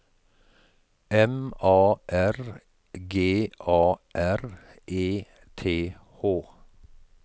M A R G A R E T H